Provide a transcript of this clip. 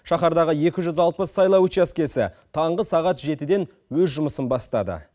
шаһардағы екі жүз алпыс сайлау учаскесі таңғы сағат жетіден өз жұмысын бастады